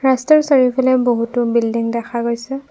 ৰাস্তাৰ চাৰিওফালে বহুতো বিল্ডিং দেখা গৈছে।